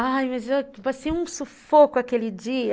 Ai, mas eu passei um sufoco aquele dia.